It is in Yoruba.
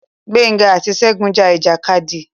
Gbénga àti Ṣegún ja ìjàkadì.